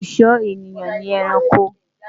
olú sò ènìyàn ní ẹranko